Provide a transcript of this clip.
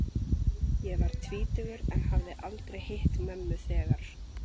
Ég var tvítugur en hafði aldrei hitt mömmu þegar